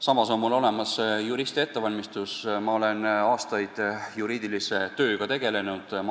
Samas on mul olemas juristi ettevalmistus, ma olen aastaid juriidilise tööga tegelenud.